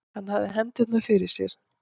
Hann hafði hendurnar fyrir sér.